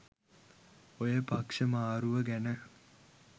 ඔය පක්ෂ මාරුව ගැන